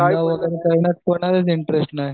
interest नाही